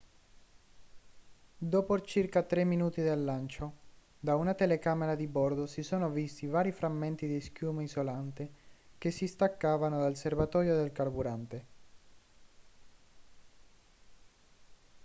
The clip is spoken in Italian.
dopo circa 3 minuti dal lancio da una telecamera di bordo si sono visti vari frammenti di schiuma isolante che si staccavano dal serbatoio del carburante